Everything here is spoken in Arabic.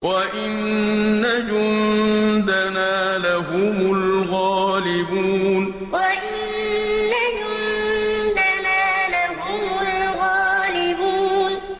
وَإِنَّ جُندَنَا لَهُمُ الْغَالِبُونَ وَإِنَّ جُندَنَا لَهُمُ الْغَالِبُونَ